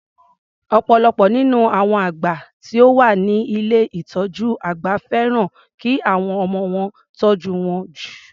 Ọ̀pọ̀lọpọ̀ nínú àwọn àgbà tí ó wá ni ilé ìtọjú àgbà fẹ́ràn ki àwọn ọmọ wọn tọ́jú wọn jù.